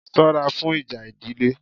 Sọ́ra fún ìjà ìdílé!